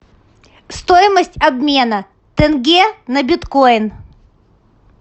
стоимость обмена тенге на биткоин